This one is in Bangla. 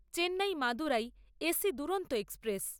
Chennai Madurai AC Duronto express